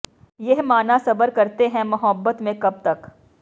ਯਹ ਮਾਨਾ ਸਬਰ ਕਰਤੇ ਹੈਂ ਮੁਹੱਬਤ ਮੇਂ ਮਗਰ ਕਬ ਤਕ